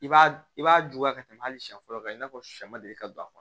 I b'a i b'a juguya ka tɛmɛ hali siɲɛ fɔlɔ kan i n'a fɔ shɛ ma deli ka don a kɔnɔ